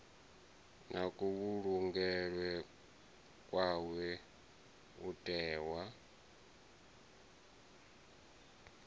na kuvhulungelwe kwawe u tiwa